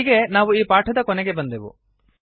ಇಲ್ಲಿಗೆ ನಾವು ಈ ಪಾಠದ ಕೊನೆಗೆ ಬಂದೆವು